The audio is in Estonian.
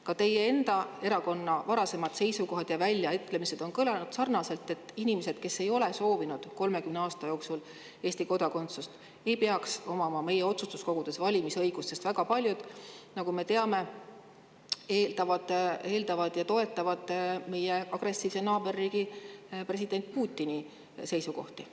Ka teie enda erakonna varasemad seisukohad ja väljaütlemised on kõlanud sarnaselt, et inimesed, kes ei ole soovinud 30 aasta jooksul Eesti kodakondsust, ei peaks omama meie otsustuskogude valimise õigust, sest väga paljud, nagu me teame, toetavad meie agressiivse naaberriigi presidendi Putini seisukohti.